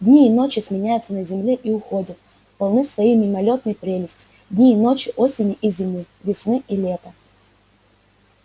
дни и ночи сменяются на земле и уходят полные своей мимолётной прелести дни и ночи осени и зимы весны и лета